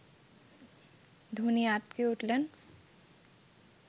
ধোনি আঁতকে উঠলেন